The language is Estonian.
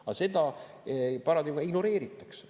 Aga seda ignoreeritakse.